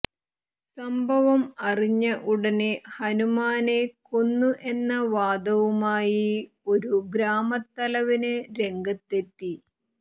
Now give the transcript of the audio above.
സംഭവം അറിഞ്ഞ ഉടനെ ഹനുമാനെ കൊന്നു എന്ന വാദവുമായി ഒരു ഗ്രാമത്തലവന് രംഗത്തെത്തി